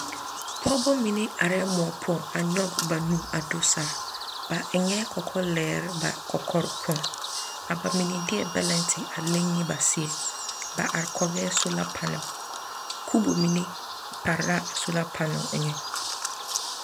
Pɔgebɔ mine arɛɛ moɔ poɔŋ a nyɔg ba nu a do saa. Ba eŋɛɛ kɔkɔlɛɛr ba kɔkɔre poɔŋ. A ba mine deɛ bɛlɛnte a leŋ ne ba seɛ. ba are kɔgɛɛ soola panal. Kubo mine pare la a soola panal eŋɛ.